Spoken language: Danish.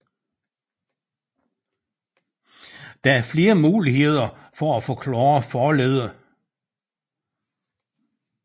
Der er flere muligheder for at forklare forleddet